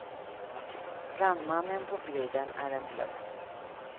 Brandmannen på bilden är en bluff.